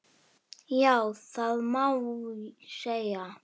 Já, það má segja.